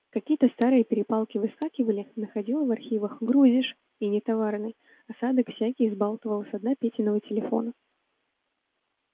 какие-то старые перепалки выскакивали находило в архивах грузишь и нетоварный осадок всякий взбалтывал со дна петиного телефона